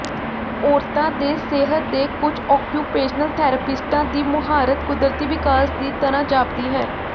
ਔਰਤਾਂ ਦੇ ਸਿਹਤ ਦੇ ਕੁਝ ਓਕਯੁਪੇਸ਼ਨਲ ਥੈਰੇਪਿਸਟਾਂ ਦੀ ਮੁਹਾਰਤ ਕੁਦਰਤੀ ਵਿਕਾਸ ਦੀ ਤਰ੍ਹਾਂ ਜਾਪਦੀ ਹੈ